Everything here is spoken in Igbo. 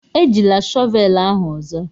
Ejila shọvelu ahu ozo.